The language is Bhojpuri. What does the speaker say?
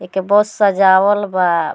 एक बस सजावल बा।